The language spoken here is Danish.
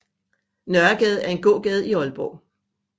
Nørregade er en gågade i Aalborg